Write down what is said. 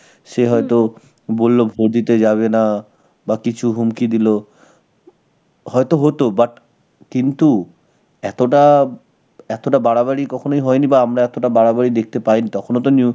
সে হয়তো বলল vote দিতে যাবে না. বা কিছু হুমকি দিল. হয়তো হতো, but, কিন্তু এতটা~, এতটা বাড়াবাড়ি কখনোই হয়নি, বা আমরা এতটা বাড়াবাড়ি দেখতে পাইনি. তখনো তো new~,